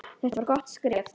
Þetta var gott skref.